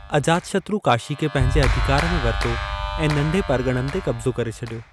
अजातशत्रु काशी खे पंहिंजे अधिकारु में वरितो ऐं नंढे परगि॒णनि ते कब्ज़ो करे छॾियो।